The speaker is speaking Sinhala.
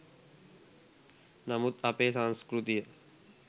නමුත් අපේ සංස්කෘතිය